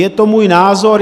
Je to můj názor.